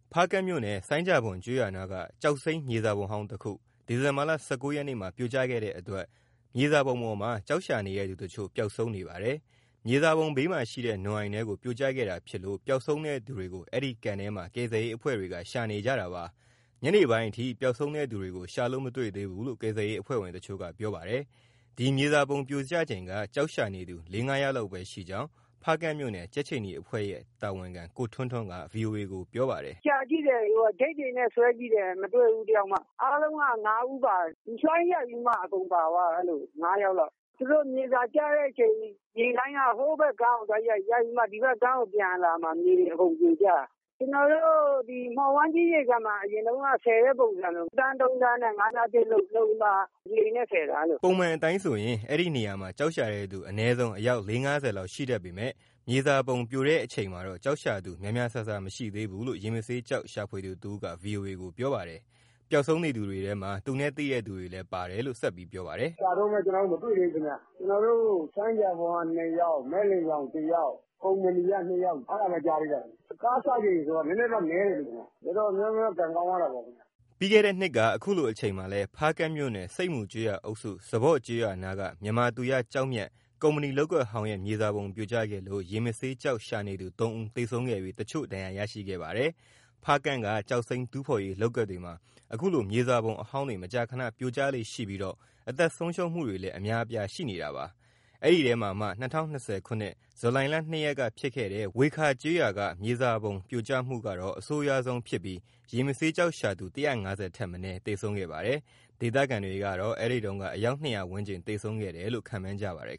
ဖားကန့်မြို့နယ်၊ ဆိုင်းဂျာဘွမ်ကျေးရွာနားက ကျောက်စိမ်းမြေစာပုံဟောင်းတခု ဒီဇင်ဘာလ ၁၉ ရက်မှာပြိုကျခဲ့တဲ့အတွက် ဒီမြေစာပုံပေါ်မှာ ကျောက်ရှာနေတဲ့သူတချို့ ပျောက်ဆုံးနေပါတယ်။ မြေစာပုံဘေးမှာရှိတဲ့ နွံအိုင်ထဲကို ပြိုကျခဲ့တာဖြစ်လို့ ပျောက်ဆုံးတဲ့သူတွေကို အဲဒီကန်ထဲမှာ ကယ်ဆယ်ရေးအဖွဲ့တွေက ရှာဖွေနေကြတာပါ။ တနလာၤနေ့ ညနေပိုင်းအထိ ပျောက်ဆုံးတဲ့သူတွေကို ရှာလို့မတွေ့သေးဘူးလို့ ကယ်ဆယ်ရေးအဖွဲ့ဝင်တချို့က ပြောပါတယ်။ ဒီမြေစာပုံပြိုကျချိန်က ကျောက်ရှာနေသူ လေးငါးယောက်လောက်ပဲရှိကြောင်း ဖားကန့်မြို့နယ် ကြက်ခြေနီအဖွဲ့ရဲ့ တာဝန်ခံ ကိုထွန်းထွန်းက ဗွီအိုအေကို ပြောပါတယ်။ “ ရှာကြည့်တယ်၊ ချိတ်တွေနဲ့ဆွဲကြည့်တယ်၊ မတွေ့ဘူးတယောက်မှ။ အားလုံးက ၅ ဦးပါတယ်။ လှိုင်းရိုက်ပြီးမှ အကုန်ပါသွားတာ ငါးယောက်လောက်။ သူတို့ မြေစာကျတဲ့အချိန် ရေလှိုင်းက ဟိုးဘက်ကမ်းကိုရိုက်ပြီးမှ ဒီဘက်ကမ်းကိုပြန်အလာမှာ မြေတွေအကုန်ပြိုကျတာ။ ကျနော်တို့ မှော်ဝိုင်းကြီးရေကန်မှာ အရင်တုန်းက ဆယ်တဲ့ပုံစံလို တန်း ၃ တန်းနဲ့ ငါးမျှားချိတ်လုပ်ပြီးမှ လှေနဲ့ဆယ်တာ။” ပုံမှန်အတိုင်းဆို အဲဒီနေရာမှာကျောက်ရှာတဲ့သူ အနည်းဆုံး အယောက် လေးငါးဆယ်လောက် ရှိတတ်ပေမဲ့၊ မြေစာပုံပြိုချိန် ကျောက်ရှာသူ များများ စားစား မရှိသေးဘူးလို့ ရေမဆေးကျောက်ရှာဖွေသူတဦးက ဗွီအိုအေကို ပြောပါတယ်။ ပျောက်ဆုံးနေသူတွေထဲမှာ သူ့နဲ့သိသူတွေလည်း ပါပါတယ်။ “ ရှာတုန်းပဲ ကျနော်တို့ မတွေ့သေးဘူးခင်ဗျ၊ ကျနော်တို့ ဆိုင်းဂျာဘွမ်က ၂ ယောက်၊ မက်လင်ချောင် တယောက်၊ ကုမ္ပဏီက ၂ယောက် အဲဒါပဲကြားသေးတာ။ ကားစချိန်ဆိုတော့ နည်းနည်းတော့နည်းတယ် ခင်ဗျ။ တော်တော်များများ ကံကောင်းသွားတာပေါ့ ခင်ဗျ။” မနှစ်က အခုလိုအချိန်မှာလဲ ဖားကန့်မြို့နယ်၊ ဆိပ်မူကျေးရွာအုပ်စု၊ စပေါ့ကျေးရွာနားက မြန်မာသူရ ကျောက်မျက်ကုမ္ပဏီလုပ်ကွက်ဟောင်းရဲ့ မြေစာပုံပြိုကျခဲ့လို့ ရေမဆေးကျောက်ရှာနေသူ သုံးဦး သေဆုံးခဲ့ပြီး တချို့ဒဏ်ရာရခဲ့ပါတယ်။ ဖားကန့်က ကျောက်စိမ်းတူးဖော်ရေး လုပ်ကွက်တွေမှာ ခုလိုမြေစာပုံအဟောင်းတွေ မကြာခဏပြိုကျလေ့ရှိပြီး အသက်ဆုံးရှုံးမှုတွေလည်း အများအပြားရှိပါတယ်။ အဲဒီအထဲမှာ ၂၀၂၀ ဇူလိုင်လ ၂ရက်က ဖြစ်ခဲ့တဲ့ ဝှေခါး ကျေးရွာက မြေစာပုံပြိုကျမှုက အဆိုးရွားဆုံးဖြစ်ပြီး ရေမဆေးကျောက်ရှာသူ ၁၅၀ ထက်မနည်း သေဆုံးခဲ့ပါတယ်။ ဒေသခံတွေကတော့ အဲဒီတုန်းက အယောက် ၂၀၀ ဝန်းကျင်သေဆုံးခဲ့တယ်လို့ ခန့်မှန်းကြပါတယ်